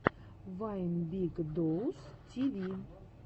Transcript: вайн биг доус ти ви